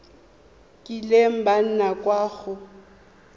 kileng ba nna kwa go